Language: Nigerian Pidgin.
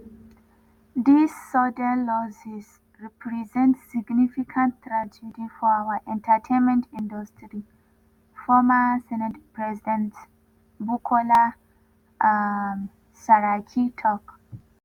dis sudden losses represent significant tragedy for our entertainment industry” former senate president bukola um saraki tok.